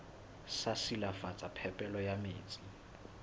sa silafatsa phepelo ya metsi